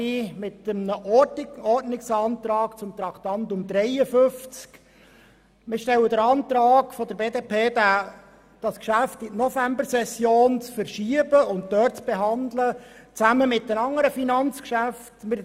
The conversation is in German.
Die BDP beantragt, Traktandum 53 in die Novembersession zu verschieben und zusammen mit den anderen Finanzgeschäften zu behandeln.